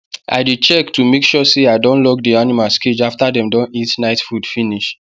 i dey check to make sure say i don lock the animals cage after dem don eat night food finish